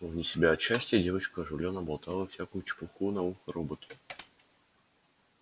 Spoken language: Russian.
вне себя от счастья девочка оживлённо болтала всякую чепуху на ухо роботу